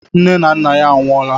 Nne na nna ya anwụọla